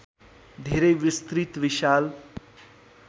धेरै विस्तृत विशाल